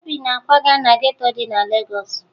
Obi na-akwaga na geto dị na Legọọsụ